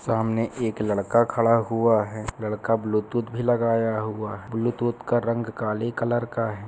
सामने एक लड़का खड़ा हुआ है. लड़का ब्लूटूथ भी लगाया हुआ है ब्लूटूथ का रंग काले कलर का है।